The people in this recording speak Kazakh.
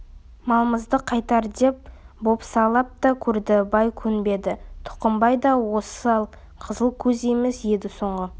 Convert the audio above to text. малымызды қайтар деп бопсалап та көрді бай көнбеді тұқымбай да осал қызыл көз емес еді соңғы